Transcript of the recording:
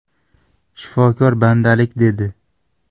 Shifokor bandalik dedi.